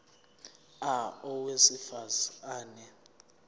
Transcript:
a owesifaz ane